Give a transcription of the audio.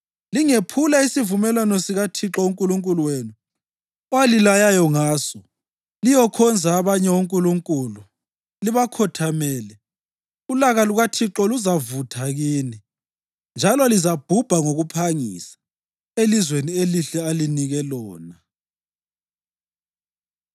Lingephula isivumelwano sikaThixo uNkulunkulu wenu, owalilayayo ngaso liyokhonza abanye onkulunkulu libakhothamele, ulaka lukaThixo luzavutha kini, njalo lizabhubha ngokuphangisa elizweni elihle alinike lona.”